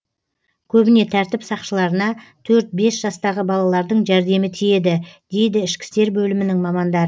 көбіне тәртіп сақшыларына төрт бес жастағы балалардың жәрдемі тиеді дейді ішкі істер бөлімінің мамандары